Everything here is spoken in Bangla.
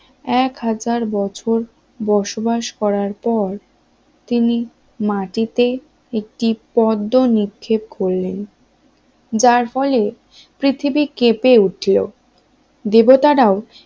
এক হাজার বছর বসবাস করার পর তিনি মাটিতে একটি পদ্ম নিক্ষেপ করলেন যার ফলে পৃথিবী কেঁপে উঠল দেবতারাও